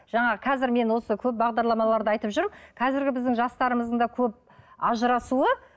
жаңағы қазір мен осы көп бағдарламаларда айтып жүрмін қазіргі біздің жастарымыздың да көп ажырасуы